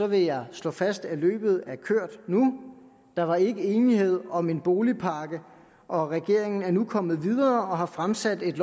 vil jeg slå fast at løbet er kørt nu der var ikke enighed om en boligpakke og regeringen er nu kommet videre og har fremsat et